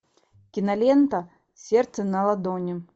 кинолента сердце на ладони